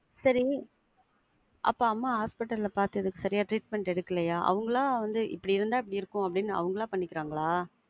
செரி. அப்ப அம்மா hospital ல பாத்ததுக்கு சரியா treatment எடுக்கலையா? அவங்களா வந்து இப்படி இருந்தா இப்படி இருக்கும்ன்னு அவங்களா பண்ணிக்கிறாங்களா?